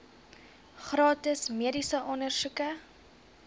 gratis mediese ondersoeke